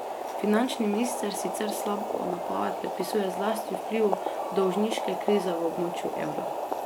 Finančni minister sicer slabo napoved predpisuje zlasti vplivu dolžniške krize v območju evra.